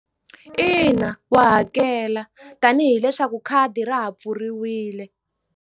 Ina wa hakela tanihi leswaku khadi ra ha pfuriwile.